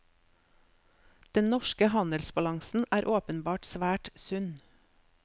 Den norske handelsbalansen er åpenbart svært sunn.